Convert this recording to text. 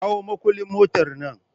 Kawo makullin motar nan!